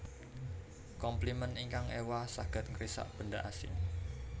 Komplimen ingkang éwah saged ngrisak benda asing